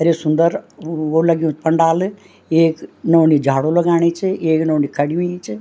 अर ये सुन्दर वो लग्युं च पंडाल येक नौनी झाड़ू लगाणी च एक नौनी खड़ीं हुईं च।